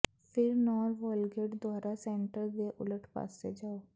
ਫਿਰ ਨੌਰ ਵੋਲਗੈਟ ਦੁਆਰਾ ਸੈਂਟਰ ਦੇ ਉਲਟ ਪਾਸੇ ਜਾਓ